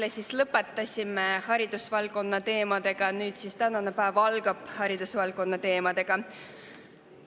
Eile siis lõpetasime haridusvaldkonna teemadega ja nüüd tänane päev algab haridusvaldkonna teemadega.